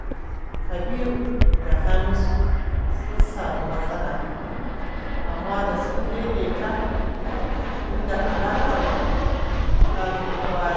Kabiru da Hamisu sun sami matsala, amma da sun daidaita, inda alaƙar ta fi ta baya.